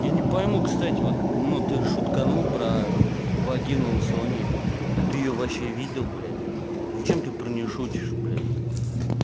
я не пойму кстати вот ну ты шутканул про вагину сони а ты её вообще видел блять зачем ты про не шутишь блять